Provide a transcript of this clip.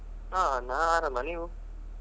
ಹಾ ನಾನ್ ಆರಾಮ ನೀವು?